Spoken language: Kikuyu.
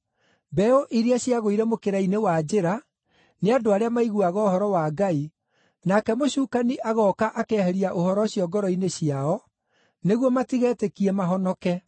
Mbeũ iria ciagũire mũkĩra-inĩ wa njĩra nĩ andũ arĩa maiguaga ũhoro wa Ngai, nake mũcukani agooka akeheria ũhoro ũcio ngoro-inĩ ciao, nĩguo matigetĩkie mahonoke.